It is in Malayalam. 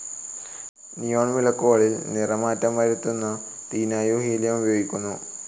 നിയോൺ വിളക്കുകളിൽ നിറമാറ്റം വരുത്തുന്നതിനായുംഹീലിയം ഉപയോഗിക്കുന്നു.